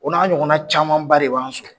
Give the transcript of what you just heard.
O n'a ɲɔgɔnna caman ba de b'an sɔrɔ!